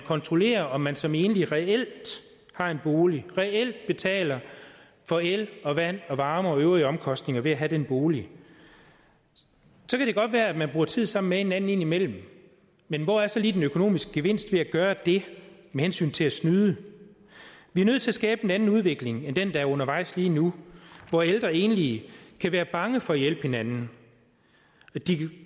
kontrollere om man som enlig reelt har en bolig reelt betaler for el og vand og varme og øvrige omkostninger ved at have den bolig så kan det godt være at man bruger tid sammen med en anden indimellem men hvor er så lige den økonomiske gevinst ved at gøre det med hensyn til at snyde vi er nødt til at skabe en anden udvikling end den der er undervejs lige nu hvor ældre enlige kan være bange for at hjælpe hinanden de